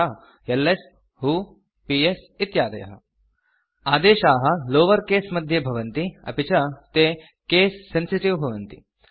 यथा LS who PS इत्यादयः आदेशाः लावर केस मध्ये भवन्ति अपि च ते केस सेन्सिटिव् भवन्ति